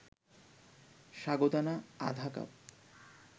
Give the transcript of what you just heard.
সাগুদানা আধা কাপ